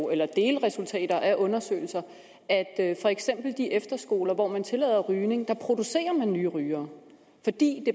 eller delresultater af undersøgelser at for eksempel på de efterskoler hvor man tillader rygning produceres der nye rygere fordi